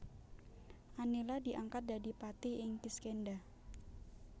Anila diangkat dadi patih ing Kiskendha